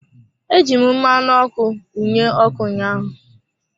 Eji m mmanụ ọkụ mụnye ọkụ ụnyaahụ.